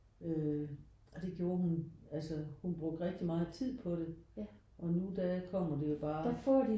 Øh og det gjorde hun altså hun brugte rigtig meget tid på det. Og nu der kommer det jo bare